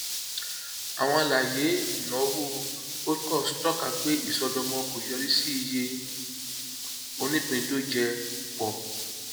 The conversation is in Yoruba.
àwọn alaye ìnáwó holdcos tọka pé ìṣọdọmọ kò yorì sí iye onípíndójẹ pọ